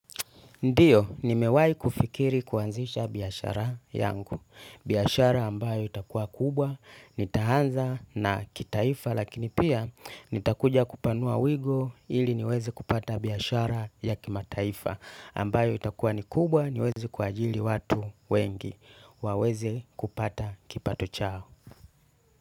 Ndio, nimewai kufikiri kuanzisha biashara yangu. Biashara ambayo itakua kubwa, nitaanza na kitaifa, lakini pia nitakuja kupanua wigo ili niweze kupata biashara ya kimataifa. Ambayo itakua ni kubwa niweze kuajiri watu wengi waweze kupata kipato chao.